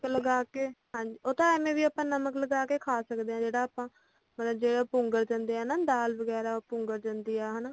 ਨਮਕ ਲਗਾ ਕੇ ਉਹ ਤਾ ਆਪਾ ਐਵੇਂ ਵੀ ਨਮਕ ਲਗਾ ਕੇ ਖਾ ਸਕਦੇ ਆ ਜਿਹੜਾ ਆਪਾ ਮਤਲੱਬ ਜਿਹੜਾ ਪੁੰਗਰ ਜਾਂਦੇ ਆ ਨਾ ਦਾਲ ਵਗੈਰਾ ਪੁੰਗਰ ਜਾਂਦੀ ਆ ਹਨਾਂ